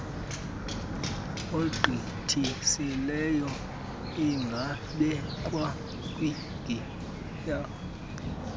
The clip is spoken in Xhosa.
egqithisileyo ingabekwa kwigiyeri